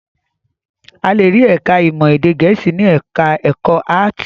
A le rí ẹ̀ka-ìmọ̀ èdè Gẹ̀ẹ́sì ní ẹ̀ka-ẹ̀kọ́ áátì.